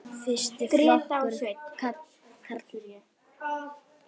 Fyrsti flokkur karla.